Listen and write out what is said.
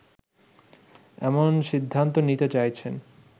এমন সিদ্ধান্ত নিতে চাইছেন